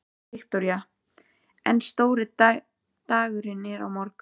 Viktoría: En stóri dagurinn er á morgun?